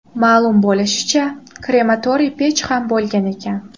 Ma’lum bo‘lishicha, krematoriy pech ham bo‘lgan ekan.